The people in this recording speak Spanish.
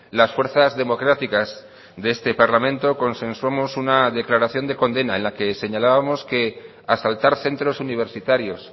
las fuerzas democráticas de este parlamento consensuamos una declaración de condena en la que señalábamos que asaltar centros universitarios